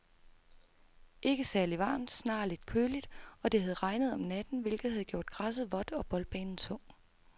Ikke særligt varmt, snarere lidt køligt, og det havde regnet om natten, hvilket havde gjort græsset vådt og boldbanen tung.